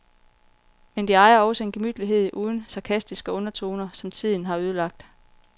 Men de ejer også en gemytlighed uden sarkastiske undertoner, som tiden har ødelagt.